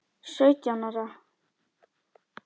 Sautján ára?